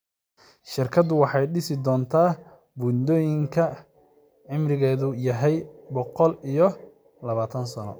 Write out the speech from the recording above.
Shirkaddu waxay dhisi doontaa buundooyin cimrigeedu yahay boqol iyo labaatan sano.